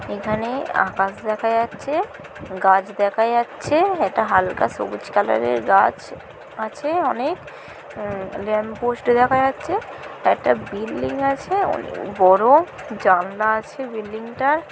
এখানে আকাশ দেখা যাচ্ছে গাছ দেখা যাচ্ছে একটা হালকা সবুজ কালারের গাছ আছে অনেক উম ল্যাম্প পোস্ট দেখা যাচ্ছে একটা বিল্ডিং আছে ও বড়। জানলা আছে বিল্ডিংটার ।